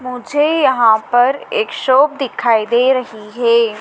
मुझे यहाँ पर एक शाॅप दिखाई दे रही है।